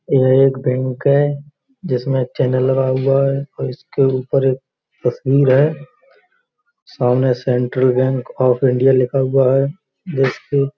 यह एक बैंक है जिसमें चैनल लगा हुआ है और इसके ऊपर एक तस्वीर है। सामने सेंट्रल बैंक ऑफ इंडिया लिखा हुआ है। जिसके --